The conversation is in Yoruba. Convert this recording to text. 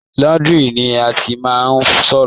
Laundry ni a ti ma n fọṣọ.